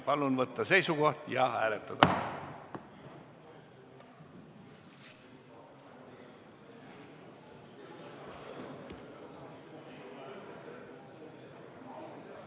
Palun võtta seisukoht ja hääletada!